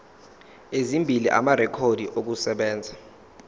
ezimbili amarekhodi okusebenza